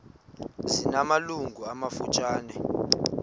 zina malungu amafutshane